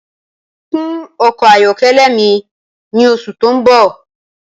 Kun ọkọ ayọkẹlẹ mi ni oṣù tó ń bọ̀